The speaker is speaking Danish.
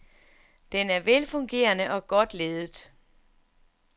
Den er velfungerende og godt ledet.